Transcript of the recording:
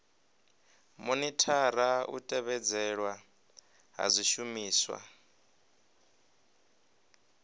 monithara u tevhedzelwa ha zwishumiswa